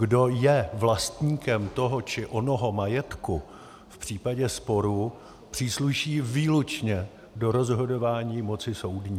Kdo je vlastníkem toho či onoho majetku v případě sporu, přísluší výlučně do rozhodování moci soudní.